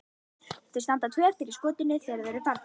Þau standa tvö eftir í skotinu þegar þeir eru farnir.